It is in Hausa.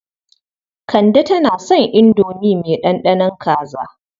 Kande tana son indomi mai ɗanɗanon kaza.